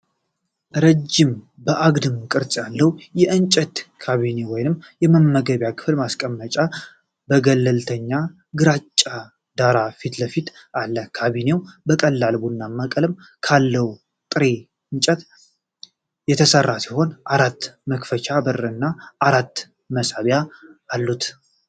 ረጃጅም፣ አግድም ቅርጽ ያለው የእንጨት ካቢኔ ወይም የመመገቢያ ክፍል ማስቀመጫ በገለልተኛ ግራጫ ዳራ ፊት ለፊት አለ። ካቢኔው ከቀላል ቡናማ ቀለም ካለው ጥሬ እንጨት የተሠራ ሲሆን፣ አራት መክፈቻ በር እና አራት መሳቢያ አሉት።